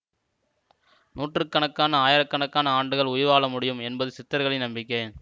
நூற்று கணக்கான ஆயிரக்கணக்கான ஆண்டுகள் உயிர் வாழமுடியும் என்பது சித்தர்களின் நம்பிக்கை